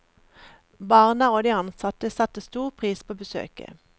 Barna og de ansatte satte stor pris på besøket.